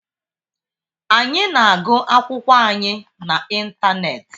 Anyị na-agụ akwụkwọ anyị na ịntanetị.